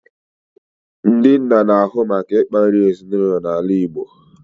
Ndị nna n'ahụ maka ịkpa nri ezinụlọ na ala Igbo